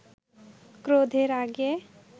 ক্রোধে রাগে